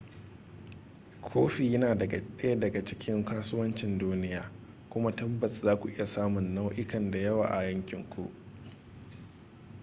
kofi yana daya daga cikin kasuwancin duniya kuma tabbas za ku iya samun nau'ikan da yawa a yankinku